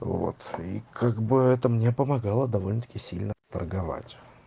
вот и как бы это мне помогала довольно-таки сильно торговать